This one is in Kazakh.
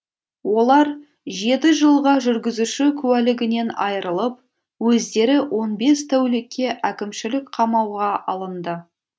олар жеті жылға жүргізуші куәлігінен айырылып өздері он бес тәулікке әкімшілік қамауға алынды